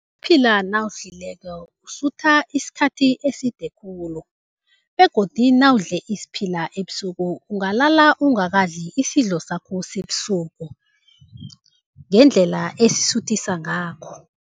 nawusidlileko usutha isikhathi eside khulu begodu nawudle isiphila ebusuku ungalala ungakadli isidlo sakho sebusuku, ngendlela esisuthisa ngakho.